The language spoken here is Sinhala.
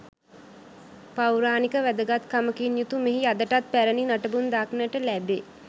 පෞරාණික වැදගත්කමකින් යුතු මෙහි අදටත් පැරැණි නටබුන් දක්නට ලැබේ.